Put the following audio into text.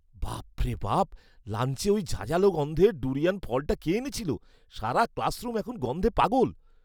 বাপ রে বাপ, লাঞ্চে ওই ঝাঁঝালো গন্ধের ডুরিয়ান ফলটা কে এনেছিল? সারা ক্লাসরুম এখন গন্ধে পাগল।